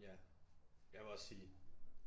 Ja jeg vil også sige